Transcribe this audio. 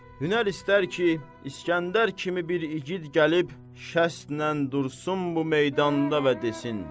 Hünər istər ki, İsgəndər kimi bir igid gəlib şəstlə dursun bu meydanda və desin: